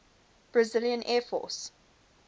brazilian air force